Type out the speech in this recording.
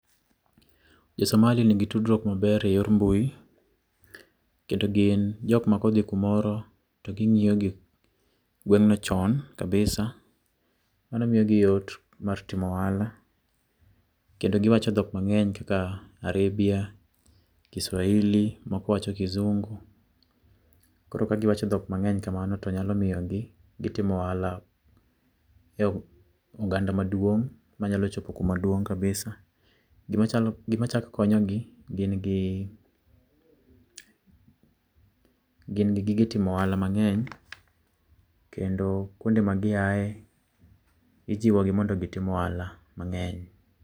josomali nigi tudruok maber eyor mbui kendo gin jok makodhi kumore to gingio gi gwengne chon kabisa kendo mano miyo giyot mar timo ohala kendo giwacho dhok mangeny kaka arabia, kiswahili moko wacho kizungu koro ka giwacho dhok mangeny kamano to nyalo miyogitimo ohalo e oganda maduong manyalo chopo kuma duong kabisa, gima chako konyogi, gin gi gige timo ohala mangeny kendo kuonde ma giaye ijiwo gi mondo gitim ohala mangeny.